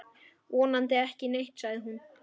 Vonandi ekki neitt, sagði hún.